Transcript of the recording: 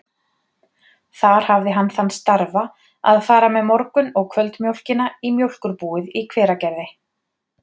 Þar hafði hann þann starfa að fara með morgun- og kvöldmjólkina í mjólkurbúið í Hveragerði.